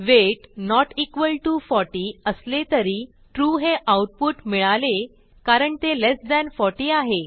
weight not equal to 40 असले तरी true हे आऊटपुट मिळाले कारण ते लेस थान 40 आहे